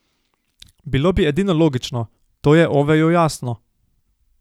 Bilo bi edino logično, to je Oveju jasno.